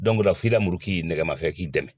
o la f'i i ra muru k'i nɛgɛmafɛn k'i dɛmɛ.